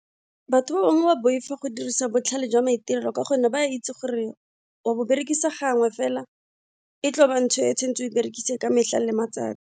Batho ba bangwe ba boifa go dirisa botlhale jwa maitirelo ka gonne ba itse gore wa bo berekisa gangwe fela e tlo ba ntho e o e berekise ka metlha le matsatsi.